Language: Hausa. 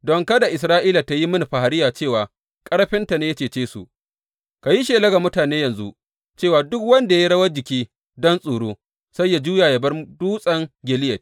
Don kada Isra’ila tă yi mini fahariya cewa ƙarfinta ne ya cece su, ka yi shela ga mutane yanzu cewa, Duk wanda ya yi rawan jiki don tsoro, sai yă juya yă bar Dutsen Gileyad.’